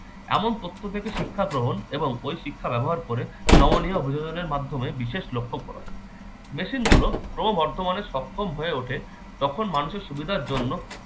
এমন তথ্য থেকে শিক্ষা গ্রহণ এবং ওই শিক্ষা ব্যবহার করে নবনিয় অভিযোজন এর মাধ্যমে বিশেষ লক্ষ্য পূরণ। machine গুলো ক্ৰমবৰ্ধমান সক্ষম হয়ে ওঠে যখন মানুষের সুবিধার জন্য-